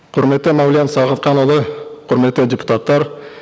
құрметті мәулен сағатханұлы құрметті депутаттар